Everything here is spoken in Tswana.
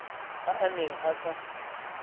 a a neng a sa